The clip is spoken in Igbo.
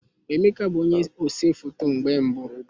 Emeka bụ onye ose foto mgbe mbu